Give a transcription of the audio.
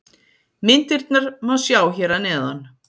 Myndirnar má sjá hér að neðan.